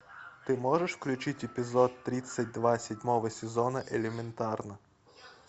ты можешь включить эпизод тридцать два седьмого сезона элементарно